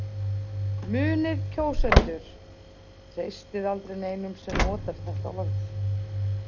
Munið kjósendur, treystið aldrei neinum sem notar þetta orð.